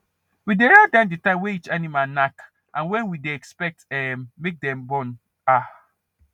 we dey write down the time way each animal knack and when we dey expect um make dem born um